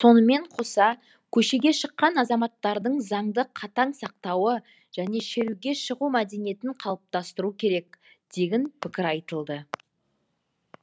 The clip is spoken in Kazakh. сонымен қоса көшеге шыққан азаматтардың заңды қатаң сақтауы және шеруге шығу мәдениетін қалыптастыру керек дегін пікір айтылды